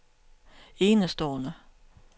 enestående